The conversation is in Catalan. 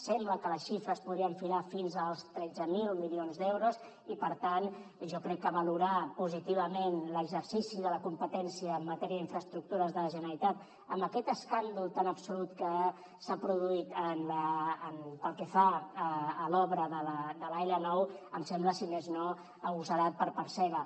sembla que la xifra es podria enfilar fins als tretze mil milions d’euros i per tant jo crec que valorar positivament l’exercici de la competència en matèria d’infraestructures de la generalitat amb aquest escàndol tan absolut que s’ha produït pel que fa a l’obra de l’l9 em sembla si més no agosarat per part seva